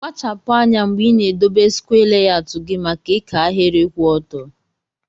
Kpachapu anya mgbe ina edobe skwee layọut gi maka ika ahiri kwụ ọtọ.